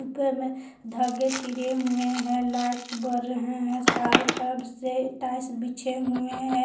ऊपर मे धागे तेरे हुए हैं लाइट बर रहे हैं चारों तरफ से टाइल्स बीछे हुए हैं।